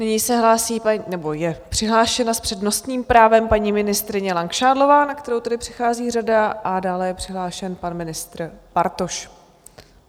Nyní se hlásí, nebo je přihlášena, s přednostním právem paní ministryně Langšádlová, na kterou tedy přichází řada, a dále je přihlášen pan ministr Bartoš.